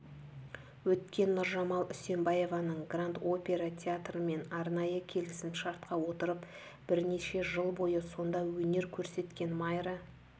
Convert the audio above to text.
өткен нұржамал үсенбаеваның гранд-опера театрымен арнайы келісімшартқа отырып бірнеше жыл бойы сонда өнер көрсеткен майра